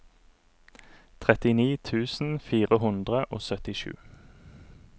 trettini tusen fire hundre og syttisju